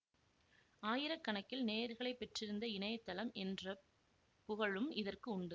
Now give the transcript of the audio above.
ஆயிர கணக்கில் நேயர்களை பெற்றிருந்த இணைய தளம் என்ற புகழும் இதற்கு உண்டு